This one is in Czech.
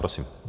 Prosím.